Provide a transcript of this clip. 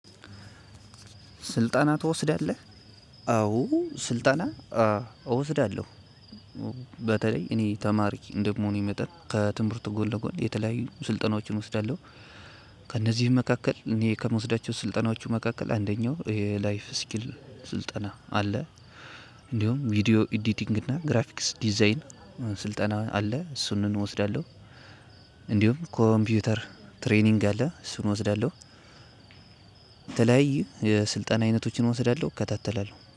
ስልጣና ትወስዳለህ አዎ ስልጣና እወስዳለሁ። በተለይ እኔ ተማሪ እንደመሆኔ መጠኔ ከትምህርት ጎን ለጎን የተለያዩ ስልጠናዎችን እወስዳለሁ። ከእነዚህም መካከል እኔ ከምወስዳቸው ስልጠናዎቹ መካከል አንደኛው ይሄ ላይፍ ስኪል ስልጠና አለ። እንዲሁም ቪዲዬ ኢዲቲንግ እና ግራፊክስ ዲዛይን ስልጠና አለ እሱን እወስዳለሁ። እንዲሁም ኮምፒውተር ትሬኒንግ አለ እሱን እወስዳለሁ። የተለያዩ የስልጣን አይነቶችን እወስዳለሁ እከታተላለሁ